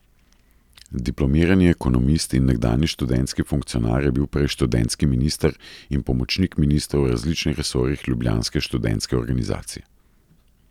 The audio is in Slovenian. Diplomirani ekonomist in nekdanji študentski funkcionar je bil prej študentski minister in pomočnik ministrov v različnih resorjih ljubljanske študentske organizacije.